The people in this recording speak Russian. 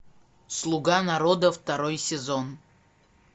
слуга народа второй сезон